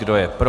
Kdo je pro?